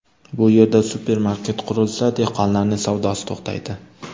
Bu yerda supermarket qurilsa, dehqonlarning savdosi to‘xtaydi.